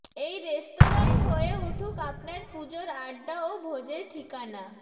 এই রেস্তোরাঁই হয়ে উঠুক আপনার পুজোর আড্ডা ও ভোজের ঠিকানা